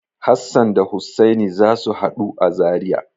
Hassan da Hussani za su haɗu a Zariya.